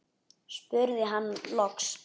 spurði hann loks.